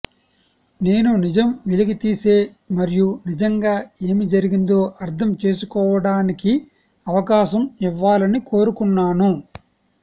నేను నిజం వెలికితీసే మరియు నిజంగా ఏమి జరిగిందో అర్థం చేసుకోవడానికి అవకాశం ఇవ్వాలని కోరుకున్నాను